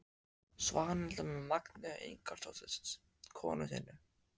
Svanhildar með Magneu Ingólfsdóttur konu sinni.